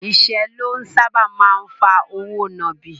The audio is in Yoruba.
Ìṣẹ́ ló sáábà máa ń fa òwò nàbì.